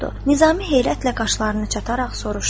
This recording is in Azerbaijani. Nizami heyrətlə qaşlarını çatararaq soruştu: